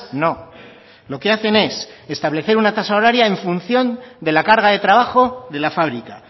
no lo que hacen es establecer una tasa horaria en función de la carga de trabajo de la fábrica